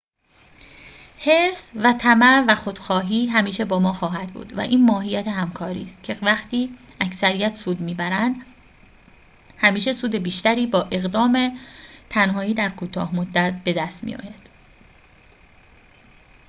حرص و طمع و خودخواهی همیشه با ما خواهد بود و این ماهیت همکاری است که وقتی اکثریت سود می‌برند همیشه سود بیشتری با اقدام تنهایی در کوتاه مدت بدست می‌آید